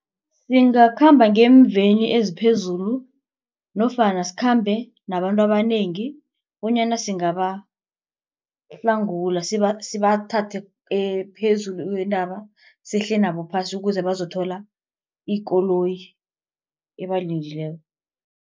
Singakhamba ngeemveni eziphezulu nofana sikhambe nabantu abanengi bonyana singabahlangula sibathathe phezu kwentaba sehle nabo phasi ukuze bazokuthola ikoloyi ebalindileko.